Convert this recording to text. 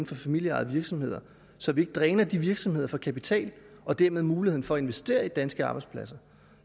for familieejede virksomheder så vi ikke dræner de virksomheder for kapital og dermed muligheden for at investere i danske arbejdspladser